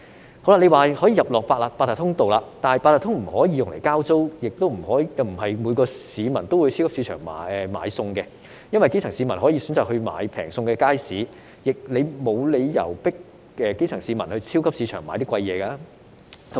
政府說可以選擇透過八達通領取，但八達通不可以用來交租，亦不是每個市民都會到超級市場買菜，原因是基層市民會選擇到街市買較便宜的食物，所以沒有理由迫基層市民到超級市場買較貴的東西。